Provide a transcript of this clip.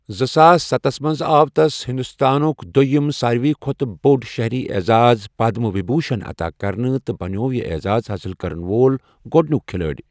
زٕ ساس ستس منٛز آو تس ہنٛدوستانک دوٚیِم سارۍوٕے کھۄتہٕ بوٚڑ شٔہری اعزاز، پدم وبھوٗشن عتا كرنہٕ، تہٕ بنیوو یہِ اعزاز حٲصِل کرن وول گۄڈنیُک کِھلٲڑۍ۔